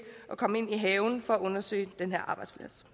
komme ind i haven for at undersøge den her arbejdsplads